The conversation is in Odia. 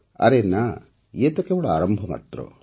ଆରେ ନା ଇଏ ତ କେବଳ ଆରମ୍ଭ ମାତ୍ର